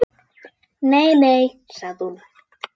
Nei, nei sagði hún.